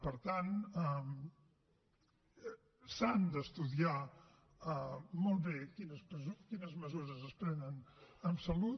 per tant s’han d’estudiar molt bé quines mesures es prenen en salut